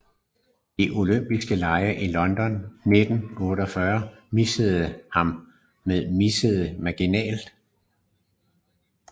De olympiske Lege i London i 1948 missede ham med mindste marginal